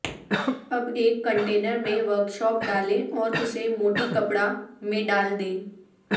اب ایک کنٹینر میں ورکشاپ ڈالیں اور اسے موٹی کپڑا میں ڈال دیں